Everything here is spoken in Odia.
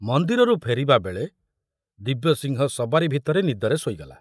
ମନ୍ଦିରରୁ ଫେରିବାବେଳେ ଦିବ୍ୟସିଂହ ସବାରି ଭିତରେ ନିଦରେ ଶୋଇଗଲା।